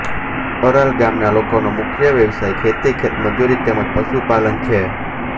Aral ગામના લોકોનો મુખ્ય વ્યવસાય ખેતી ખેતમજૂરી તેમ જ પશુપાલન છે